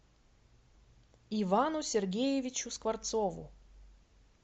ивану сергеевичу скворцову